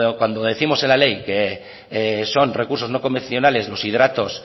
cuando décimos en la ley que son recursos no convencionales los hidratos